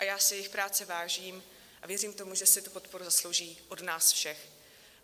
A já si jejich práce vážím a věřím tomu, že si tu podporu zaslouží od nás všech.